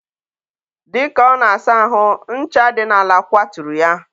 dịka ọ na-asa ahụ, ncha dị n'ala kwaturu ya.